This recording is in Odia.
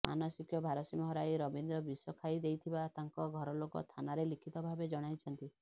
ମାନସିକ ଭାରସାମ୍ୟ ହରାଇ ରବୀନ୍ଦ୍ର ବିଷ ଖାଇ ଦେଇଥିବା ତାଙ୍କ ଘରଲୋକ ଥାନାରେ ଲିଖିତ ଭାବେ ଜଣାଇଛନ୍ତି